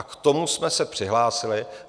A k tomu jsme se přihlásili.